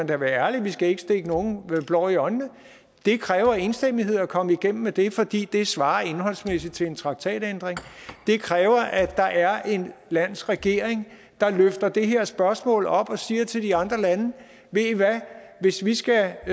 da være ærlig vi skal ikke stikke nogen blår i øjnene at det kræver enstemmighed at komme igennem med det fordi det svarer indholdsmæssigt til en traktatændring det kræver at der er et lands regering der løfter det her spørgsmål op og siger til de andre lande ved i hvad hvis vi skal